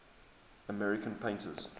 american painters